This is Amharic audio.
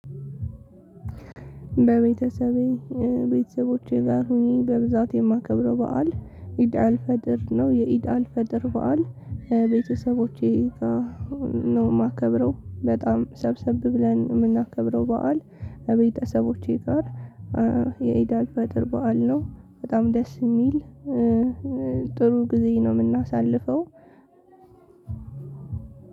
በቤተሰቤ ቤተሰቦቼ ጋር ሁኘ በብዛት የማከብረው በዓል ኢድአልፈጥር ነው የኢድ አልፈጥር በዓል ቤተሰቦቼ ጋ ነው። እማከብረው በጣም ሰብሰብ ብለን ነው እምናከብረው በዓል እቤተሰቦቼ ጋር የኢድአል ፈጥር በዓል ነው። በጣም ደስ እሚል ጥሩ ጊዜ ነው እምናሳልፈው።